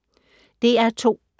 DR2